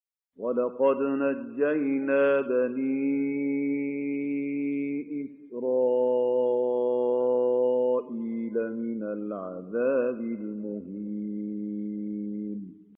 وَلَقَدْ نَجَّيْنَا بَنِي إِسْرَائِيلَ مِنَ الْعَذَابِ الْمُهِينِ